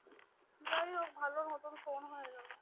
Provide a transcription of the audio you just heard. যাইহোক ভালোর মতো কম হয়ে গেলো